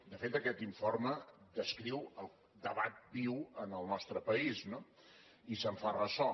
de fet aquest informe descriu el debat viu en el nostre país no i se’n fa ressò